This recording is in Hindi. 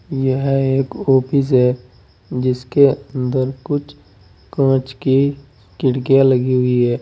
यह एक ऑफिस है जिसके अंदर कुछ कांच के खिड़कियां लगी हुई है।